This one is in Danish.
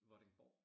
Vordingborg